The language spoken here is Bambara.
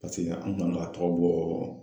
Paseke an kun kan ka tɔgɔ bɔ